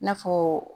I n'a fɔ